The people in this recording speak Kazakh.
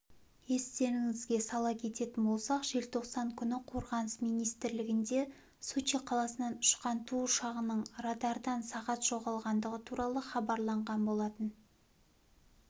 естеріңізге сала кететін болсақ желтоқсан күні қорғаныс министрлігінде сочи қаласынан ұшқан ту ұшағының радардан сағат жоғалғандығы туралы хабарланған болатын